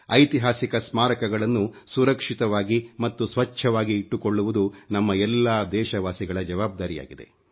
ಐತಿಹಾಸಿಕ ಸ್ಮಾರಕಗಳನ್ನು ಸುರಕ್ಷಿತವಾಗಿ ಮತ್ತು ಸ್ವಚ್ಚವಾಗಿ ಇಟ್ಟುಕೊಳ್ಳುವುದು ನಮ್ಮ ಎಲ್ಲಾ ದೇಶವಾಸಿಗಳ ಜವಾಬ್ದಾರಿಯಾಗಿದೆ